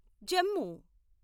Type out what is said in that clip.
Jammu